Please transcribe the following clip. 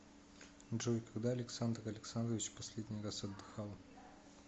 джой когда александр александрович последний раз отдыхал